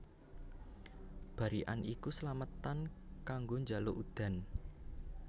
Barikan iku slametan kanggo njaluk udan